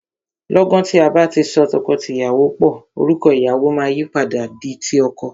Lọ́gan tí a bá ti so tọkọtìyàwó pò, orúkọ ìyàwọ máa yìí padà di ti ọkọ.